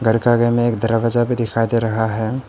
घर का आगे में एक दरवाजा भी दिखाई दे रहा है।